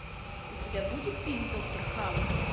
у тебя будет фильм доктор хаус